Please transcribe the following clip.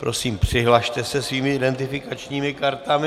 Prosím, přihlaste se svými identifikačními kartami.